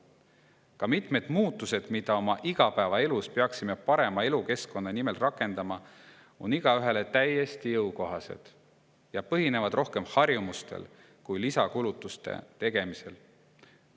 Ka mitmed muutused, mida oma igapäevaelus peaksime parema elukeskkonna nimel rakendama, on igaühele täiesti jõukohased ja põhinevad rohkem harjumustel kui lisakulutuste tegemisel.